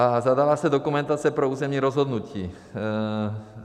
A zadává se dokumentace pro územní rozhodnutí.